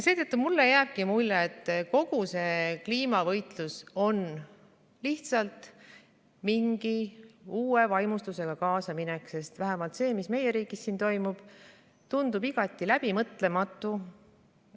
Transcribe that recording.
Seetõttu jääbki mulle mulje, et kogu see kliimavõitlus on lihtsalt mingi uue vaimustusega kaasaminek, sest vähemalt see, mis meie riigis toimub, tundub igati läbimõtlematu.